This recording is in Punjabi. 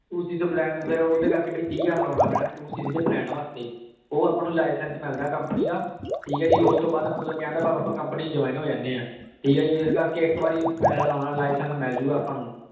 two CC ਦੇ plan ਕਰ ਕੇ ਵੀ ਤੀਹ ਹਜ਼ਾਰ ਲਾਨਾ ਪੈਣਾ two cc ਦੇ plan ਵਾਸਤੇ ਊ ਆਪਾਂ ਨੂ license ਮਿਲਦਾ company ਦਾ ਠੀਕ ਆ ਜੀ ਓਸ ਤੋਂ ਬਾਅਦ ਮਤਲਬ ਕਹਨ ਦਾ ਭਾਵ ਆਪਾਂ companyJoin ਜੋੰ ਹੋ ਜਾਨੀ ਆਂ ਠੀਕ ਆ ਜੀ ਏਸ ਕਰ ਕੇ ਏ ਇਕ ਵਾਰੀ license ਮਿਲ ਜੋ ਗਾ ਆਪਾਂ ਨੂ